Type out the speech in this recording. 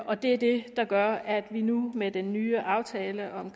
og det er det der gør at vi nu med den nye aftale om